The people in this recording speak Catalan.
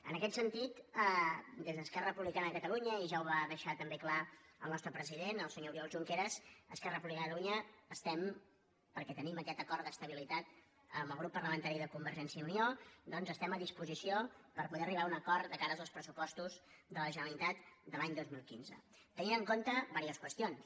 en aquest sentit des d’esquerra republicana de catalunya i ja ho va deixar també clar el nostre president el senyor oriol junqueras esquerra republicana de catalunya estem perquè tenim aquest acord d’estabilitat amb el grup parlamentari de convergència i unió doncs estem a disposició per poder arribar a un acord de cara als pressupostos de la generalitat de l’any dos mil quinze tenint en compte diverses qüestions